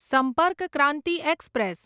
સંપર્ક ક્રાંતિ એક્સપ્રેસ